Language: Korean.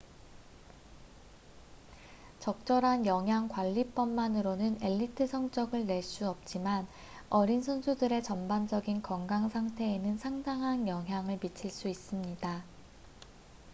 적절한 영양 관리법만으로는 엘리트 성적을 낼 수 없지만 어린 선수들의 전반적인 건강 상태에는 상당한 영향을 미칠 수 있습니다